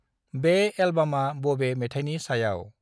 बे एल्बामा बबे मेथायनि सायाव?